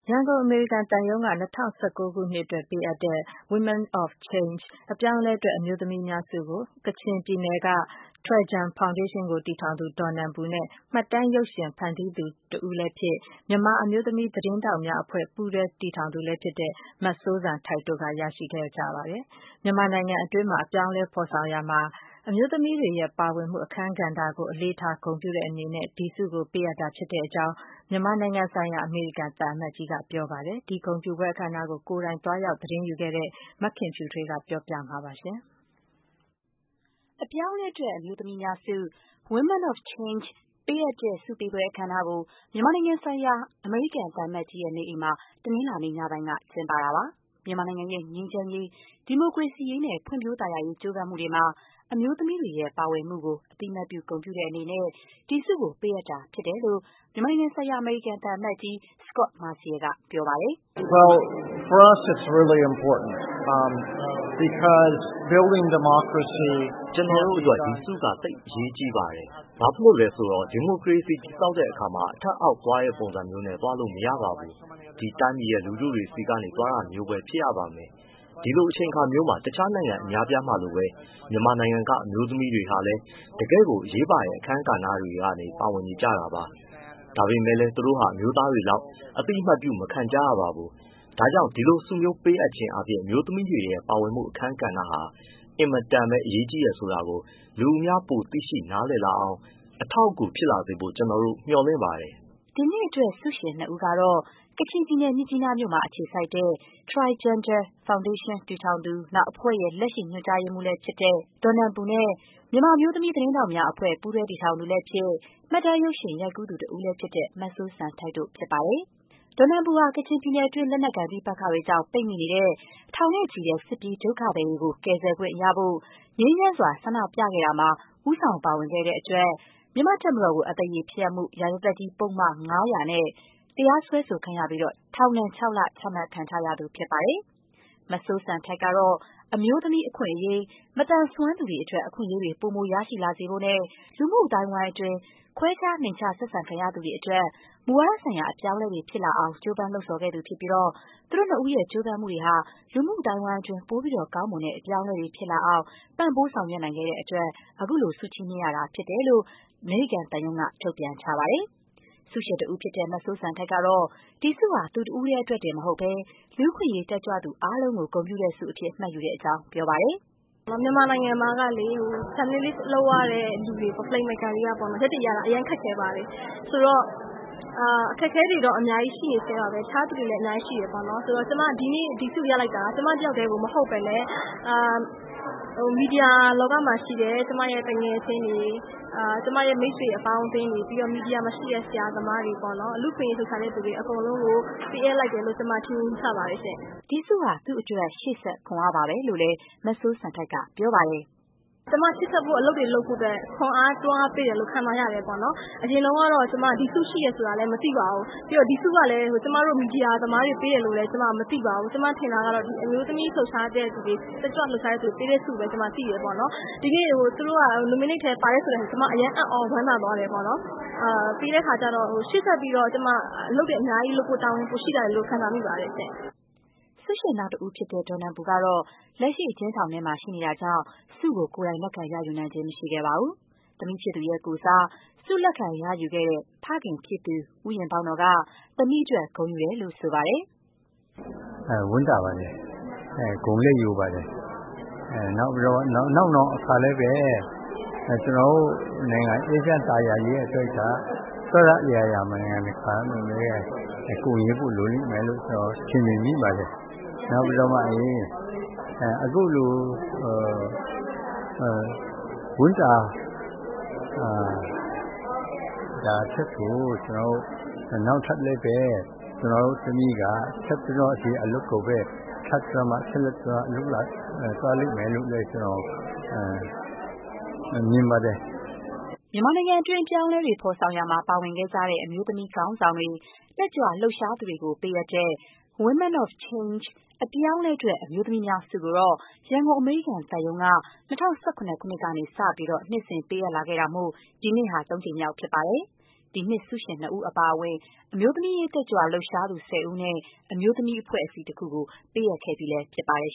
ရန်ကုန် အမေရိကန်သံရုံးက ၂၀၁၉ ခုနှစ်အတွက် ပေးအပ်တဲ့ Women of Change အပြောင်းအလဲအတွက် အမျိုးသမီးများ ဆုကို ကချင်ပြည်နယ်က ထွယ်ဂျန် ဖောင်ဒေးရှင်းကို တည်ထောင်သူ ဒေါ်နန်ပူနဲ့ မှတ်တမ်း ရုပ်ရှင်ဖန်တီးသူ တဦးလည်းဖြစ်၊ မြန်မာအမျိုးသမီး သတင်းထောက်များအဖွဲ့ ပူးတွဲ တည်ထောင်သူလည်း ဖြစ်တဲ့ မစိုးစံထိုက်တို့က ရရှိခဲ့ပါတယ်။ မြန်မာနိုင်ငံတွင်း အပြောင်းအလဲ ဖော်ဆောင်ရာမှာ အမျိုးသမီးတွေရဲ့ ပါဝင်မှု အခန်းကဏ္ဍကို အလေးထား ဂုဏ်ပြုတဲ့ အနေနဲ့ ဒီဆုကို ပေးအပ်တာဖြစ်ကြောင်း မြန်မာနိုင်ငံဆိုင်ရာ အမေရိကန် သံအမတ်ကြီးက ပြောပါတယ်။ ဒီ ဂုဏ်ပြုပွဲ အခမ်းအနားကို ကိုယ်တိုင်သွားရောက် သတင်းယူခဲ့တဲ့ မခင်ဖြူထွေးက တင်ပြပေးပါမယ်။ အပြောင်းအလဲအတွက် အမျိုးသမီးများဆု Women of Change ပေးအပ်တဲ့ ဆုပေးပွဲ အခမ်းအနားကို မြန်မာနိုင်ငံဆိုင်ရာ အမေရိကန် သံအမတ်ကြီးရဲ့ နေအိမ်မှာ တနင်္လာနေ့ ညပိုင်းက ကျင်းပတာပါ။ မြန်မာနိုင်ငံရဲ့ ငြိမ်းချမ်းရေး၊ ဒီမိုကရေစီရေးနဲ့ ဖွံ့ဖြိုးသာယာရေး ကြိုးပမ်းမှုတွေမှာ အမျိုးသမီးတွေရဲ့ ပါဝင်မှုကို အသိအမှတ်ပြု ဂုဏ်ပြုတဲ့အနေနဲ့ ဒီဆုကို ပေးအပ်တာ ဖြစ်တယ်လို့ မြန်မာနိုင်ငံဆိုင်ရာ အမေရိကန်သံ အမတ်ကြီး Scot Marciel က ပြောပါတယ်။ “ကျနော်တို့ အတွက်တော့ ဒီဆုက သိပ်အရေးကြီးပါတယ်။ ဘာဖြစ်လို့လဲ ဆိုတော့ ဒီမိုကရေစီစနစ် တည်ဆောက်တဲ့အခါမှာ အထက်-အောက်သွားတဲ့ ပုံစံမျိုးနဲ့ သွားလို့ မရပါဘူး။ ဒီတိုင်းပြည်ရဲ့ လူူထုတွေဆီကနေ သွားတာမျိုးပဲ ဖြစ်ရပါမယ်။ ဒီလိုအချိန်မျိုးမှာ တခြား နိုင်ငံ အများအပြားမှာလိုပဲ မြန်မာနိုင်ငံက အမျိုးသမီးတွေဟာလည်း တကယ့်ကို အရေးပါတဲ့ အခန်းကဏ္ဍတွေမှာ ပါဝင်နေကြတာပါ။ ဒါပေမဲ့လည်း သူတို့ဟာ အမျိုးသားတွေလောက် အသိအမှတ်ပြု မခံကြရပါဘူး။ ဒါကြောင့် ဒီလိုဆုမျိုး ပေးအပ်ခြင်းအားဖြင့် အမျိုသမီးတွေ ပါဝင်မှု အခန်းကဏ္ဍဟာ အင်မတန်ကိုပဲ အရေးကြီးတယ် ဆိုတာကို လူအများ ပိုမို သိရှိ နားလည်လာအောင်၊ လက်ခံလာအောင် အထောက်အကူ ဖြစ်စေဖို့ ကျနော်တို့ မျှော်လင့်ပါတယ်။” ဒီနှစ်အတွက် ဆုရှင် ၂ ဦးကတော့ ကချင်ပြည်နယ် မြစ်ကြီးနားမြို့မှာ အခြေစိုက် ထွယ်ဂျန်ဒါ ဖောင်ဒေးရှင်း (Htoi Gender and Development) တည်ထောင်သူ၊ အဖွဲ့ရဲ့ လက်ရှိ ညွန်ကြားရေးမှူး ဒေါ်နန်ပူနဲ့ မြန်မာအမျိုးသမီး သတင်းထောက်များအဖွဲ့ ပူးတွဲ တည်ထောင်သူလည်းဖြစ်၊ မှတ်တမ်းရုပ်ရှင် ရိုက်ကူးသူ တဦးလည်းဖြစ်တဲ့ မစိုးစံထိုက်တို့ ဖြစ်ပါတယ်။ ဒေါ်နန်ပူဟာ ကချင်ပြည်နယ်တွင်း လက်နက်ကိုင် ပဋိပက္ခတွေကြောင့် ပိတ်မိနေတဲ့ ထောင်နဲ့ချီတဲ့ စစ်ပြေးဒုက္ခသည်တွေကို ကယ်ဆယ်ခွင့်ရဖို့ ငြိမ်းချမ်းစွာ ဆန္ဒပြခဲ့ကြတာမှာ ဦးဆောင် ပါဝင်ခဲ့တဲ့အတွက် မြန်မာ့တပ်မတော်ကို အသရေဖျက်မှု ရာဇသတ်ကြီး ပုဒ်မ ၅၀၀ နဲ့ တရားစွဲဆိုခံရပြီး ထောင်ဒဏ် ၆ လ ချခံထားရသူ ဖြစ်ပါတယ်။ မစိုးစံထိုက်ကတော့ - အမျိုးသမီး အခွင့်အရေး၊ မသန်စွမ်းသူတွေ အတွက် အခွင့်အရေးတွေ ပိုမို ရရှိလာစေဖို့နဲ့ လူမှု အသိုင်းအဝိုင်းအတွင်း ဒီလို ခွဲခြား နိမ့်ချ ဆက်ဆံခံရသူတွေ အတွက် မူဝါဒဆိုင်ရာ အပြောင်းအလဲတွေ ဖြစ်လာအောင် ကြိုးပမ်းလှုံ့ဆော်ခဲ့သူ ဖြစ်ပြီး သူတို့နှစ်ဦးရဲ့ ကြိုးပမ်းမှုတွေဟာ လူမှု အသိုင်းအဝိုင်းအတွင်း ကောင်းမွန်တဲ့ အပြောင်းအလဲတွေ ဖြစ်လာအောင် ပံ့ပိုး ဆောင်ရွက်နိုင်ခဲ့တဲ့အတွက် ခုလို ဆုချီးမြှင့်ရတာဖြစ်တဲ့ အကြောင်း အမေရိကန်သံရုံးက ထုတ်ပြန်ထားပါတယ်။ ဆုရှင်တဦးဖြစ်တဲ့ မစိုးစံထိုက် ကတော့ - ဒီဆုဟာ သူတဦးတည်းအတွက် တင်မဟုတ်ဘဲ၊ လူ့အခွင့်အရေး တက်ကြွလှုပ်ရှားသူ အားလုံးကို ဂုဏ်ပြုတဲ့ဆုအဖြစ် မှတ်ယူကြောင်း ပြောပါတယ်။ “မြန်မာနိုင်ငံမှာ Journalist လုပ်ရတဲ့သူတွေ၊ film maker တွေက ရပ်တည်ရတာ အရမ်း ခက်ခဲ့ပါတယ်။ အခက်အခဲတွေကတော့ အများကြီး ရှိနေဆဲပါပဲ။ တခြားသူတွေလည်း အများကြီး ရှိတယ်ပေါ့နော်။ ဆိုတော့ ကျမ ဒီနေ့ ဒီဆုရလိုက်တာက ကျမ တယောက်တည်းကို မဟုတ်ဘဲနဲ့ မီဒီယာ လောကမှာရှိတဲ့ ကျမရဲ့သူငယ်ချင်းတွေ၊ မိတ်ဆွေ အပေါင်းအသင်းတွေ၊ ပြီးတော့ မီဒီယာမှာရှိတဲ့ ဆရာသမားတွေပေါ့နော်။ လူ့အခွင့်အရေး လှုပ်ရှားတဲ့သူတွေ အကုန်လုံးကို ပေးအပ်လိုက်တာလို့ ကျမ ထင်မြင် ယူဆပါတယ်ရှင့်။” ဒီဆုဟာ သူ့အတွက် ရှေ့ဆက် ခွန်အားပါပဲလို့လည်း မစိုးစံထိုက်က ပြောပါတယ်။ “ကျမ ရှေ့ဆက်ဖို့ အလုပ်တွေ လုပ်ဖို့အတွက် ခွန်အား၊ တွန်းအားဖြစ်တယ်လို့ ခံစားရပါတယ်။ အရင်ကတော့ ကျမက ဒီဆုရှိတယ်ဆိုတာလည်း မသိပါဘူး။ ပြီးတော့ ဒီဆုကလည်း ကျမတို့ မီဒီယာသမားတွေကို ပေးတယ်လို့လည်း ကျမ မသိပါဘူး။ ကျမ ထင်တာကတော့ ဒီ အမျိုးသမီး လှုပ်ရှားတဲ့သူတွေ၊ တက်ကြွ လှုပ်ရှားသူတွေကို ပေးတဲ့ဆုလို့ပဲ ကျမ သိတယ်ပေါ့နော်။ ဒီနေ့ သူတို့က nominate ထဲ ပါတယ်ဆိုတော့ ကျမ အရမ်း အံ့သြ ဝမ်းသာသွားတယ်ပေါ့နော်။ ပြီးတဲ့အခါကျတော့ ရှေ့ဆက်ပြီးတော့ ကျမ အလုပ်တွေ အများကြီးလုပ်ဖို့ တာဝန်ပိုရှိလာတယ်လို့ ခံစားမိပါတယ်ရှင့်။” ဆုရှင် နောက်တဦးဖြစ်တဲ့ ဒေါ်နန်ပူ ကတော့ လက်ရှိ အကျဉ်းထောင်ထဲမှာ ရှိနေတာကြောင့် ဆုကို ကိုယ်တိုင် လက်ခံရယူနိုင်ခြင်း မရှိခဲ့ပါဘူး။ သမီးဖြစ်သူရဲ့ကိုယ်စား ဆု လက်ခံရယူခဲ့တဲ့ ဖခင်ဖြစ်သူ ဦးရင်ဘောက်နော်က သမီးအတွက် ဂုဏ်ယူတယ်လို့ ဆိုပါတယ်။ “ဝမ်းသာပါတယ်။ ဂုဏ်လည်းယူပါတယ်။ နောက်နောင် အခါလည်းပဲ ကျနော်တို့နိုင်ငံ အေးချမ်း သာယာရေးအတွက်က အစစအရာရာမှာ နိုင်ငံတကာက ကူညီမှုတွေ လိုတယ်လို့ ကျနော် ထင်မြင်မိပါတယ်။ နောက်ပြီးတော့မှလည်း အခုလို ဝမ်းသာတာထက်ကို နောက်ထပ်လည်းပဲ ကျနော် သမီးအနေနဲ့ ဆက်ပြီးတော့ ဒီအလုပ်ကိုပဲ ဆက်လက် လုပ်သွားလိမ့်မယ်လို့လည်း ကျနော် မြင်ပါတယ်။ "မြန်မာနိုင်ငံတွင်း အပြောင်းအလဲ ဖော်ဆောင်ရာမှာ ပါဝင်ခဲ့ကြတဲ့ အမျိုးသမီး ခေါင်းဆောင်တွေ၊ တက်ကြွ လှုပ်ရှားသူတွေကို ပေးအပ်တဲ့ Women of Change အပြောင်းအလဲအတွက် အမျိုးသမီးများ ဆုကိုတော့ ရန်ကုန် အမေရိကန်သံရုံးအနေနဲ့ ၂၀၁၇ ခုနှစ်ကစပြီး နှစ်စဉ် ပေးအပ်လာခဲ့တာမို့ ဒီနှစ်ဟာ ၃ နှစ်မြောက်ပါ။ ဒီနှစ်ဆုရှင်နှစ်ဦး အပါအဝင် အမျိုးသမီး တက်ကြွလှုပ်ရှားသူ ၁၀ ဦးနဲ့ အမျိုးသမီး အဖွဲ့အစည်း ၁ ခုကို ပေးအပ်ခဲ့ဲပြီးဖြစ်ပါတယ်